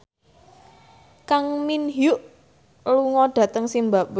Kang Min Hyuk lunga dhateng zimbabwe